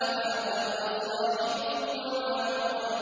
مَا ضَلَّ صَاحِبُكُمْ وَمَا غَوَىٰ